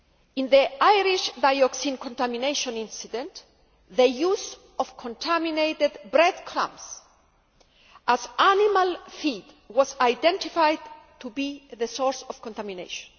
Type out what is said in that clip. In the Irish dioxin contamination incident, the use of contaminated breadcrumbs as animal feed was identified to be the source of contamination.